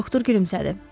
Doktor gülümsədi.